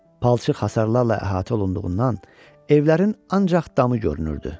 Palçıq hasarlarla əhatə olunduğundan evlərin ancaq damı görünürdü.